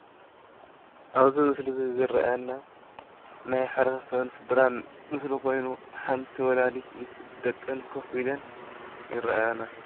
ኣብዚ ምስሊ እዙይ ዝረኣየና ናይ ሕብረተሰብን ስድራን ምስሊ ኮይኑ ሓንቲ ወላዲት ምስ ደቀን ኮፍ ኢለን ይረኣያና።